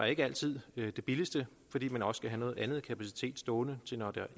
ikke altid det billigste fordi man også skal have noget andet kapacitet stående til når det